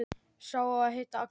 Sá á að heita Agnes.